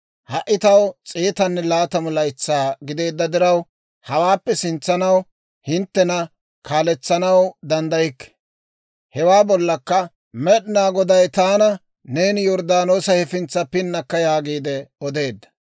«Ha"i taw s'eetanne laatamu laytsaa gideedda diraw, hawaappe sintsanaw hinttena kaaletsanaw danddaykke; hewaa bollakka Med'inaa Goday taana, ‹Neeni Yorddaanoosa hefintsa pinnakka› yaagiide odeedda.